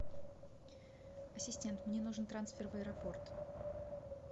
ассистент мне нужен трансфер в аэропорт